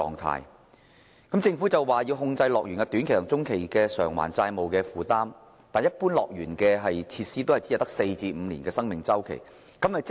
雖然政府表示要控制樂園短期及中期的債務負擔，但樂園設施的使用周期一般只有4至5年。